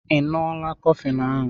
Ị ṅụọla kofflini ahu